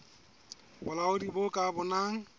bolaodi bo ka bonang e